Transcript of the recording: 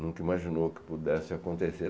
Nunca imaginou que pudesse acontecer.